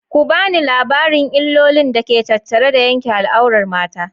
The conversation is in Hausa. Ku bani labarin illolin da ke tattare da yanke al'aurar mata.